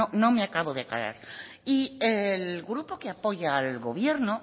no me acabo de aclarar y el grupo que apoya al gobierno